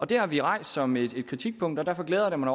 det har vi rejst som et kritikpunkt og derfor glæder jeg mig